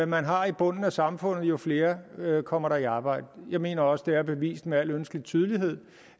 man har i bunden af samfundet jo flere kommer der i arbejde jeg mener også at det er bevist med al ønskelig tydelighed